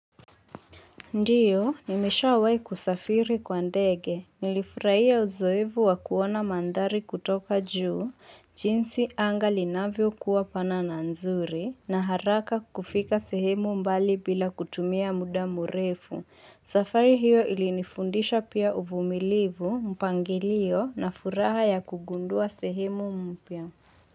Ndio, nimeshawahi kusafiri kwa ndege. Nilifurahia uzoefu wa kuona mandhari kutoka juu, jinsi anga linavyokuwa pana na nzuri, na haraka kufika sehemu mbali bila kutumia muda murefu. Safari hiyo ilinifundisha pia uvumilivu, mpangilio na furaha ya kugundua sehemu mpya.